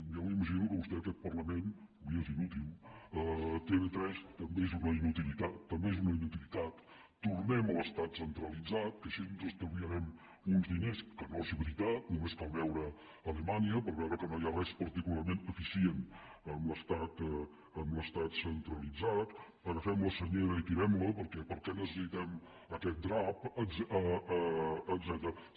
jo m’imagino que a vostè aquest parlament li és inútil tv3 també és una inutilitat tornem a l’estat centralitzat que així ens estalviarem uns diners que no és veritat només cal veure alemanya per veure que no hi ha res particularment eficient amb l’estat centralitzat agafem la senyera i tirem la perquè per què necessitem aquest drap etcètera